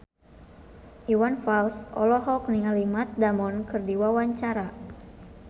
Iwan Fals olohok ningali Matt Damon keur diwawancara